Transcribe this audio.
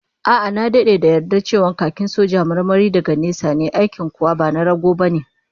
A'a, na dade da yarda cewa khakin soja marmari daga nesa ne, aikin kuwa ba na rago bane